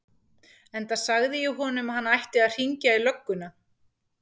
Enda sagði ég honum að hann ætti að hringja í lögguna.